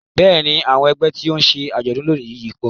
Bẹ́ẹ̀ni àwọn ẹgbẹ́ tí ó ń ṣe àjọ̀dún lónìí yìí pọ̀